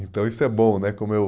Então isso é bom né como eu